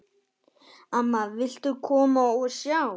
Amma, viltu koma og sjá!